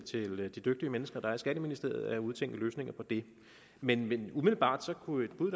at lade de dygtige mennesker i skatteministeriet udtænke løsninger på det men umiddelbart kunne et bud